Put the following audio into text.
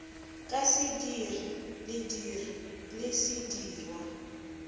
ka sediri lediri le sedirwa